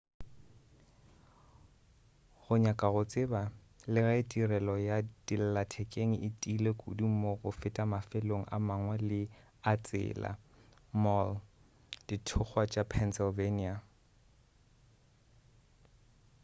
go nyaka go tseba le ge tirelo ya dillathekeng e tiile kudu mo go feta mafelong a mangwe a tsela mohl dithokgwa tša pennsylvania